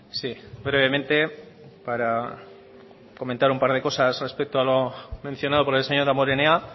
sí brevemente para comentar un par de cosas respecto a lo mencionado por el señor damborenea